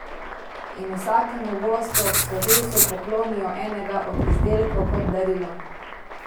In vsakemu gostu ob slovesu poklonijo enega od izdelkov kot darilo.